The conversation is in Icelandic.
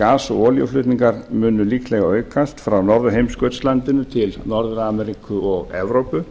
gas og olíuflutningar munu líklega aukast frá norðurheimskautslandinu til norður ameríku og evrópu